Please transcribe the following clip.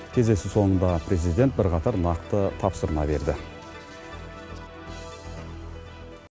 кездесу соңында президент бірқатар нақты тапсырма берді